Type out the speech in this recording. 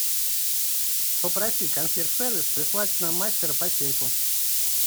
попроси консьерж сервис прислать нам мастера по сейфу